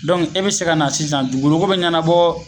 Dɔnku e be se ka na sisan dugukoloko be ɲɛnabɔ